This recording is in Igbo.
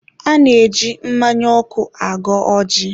a na-eji mmanya ọkụ agọ ọjị.